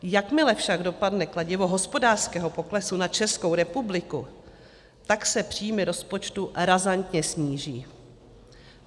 Jakmile však dopadne kladivo hospodářského poklesu na Českou republiku, tak se příjmy rozpočtu razantně sníží.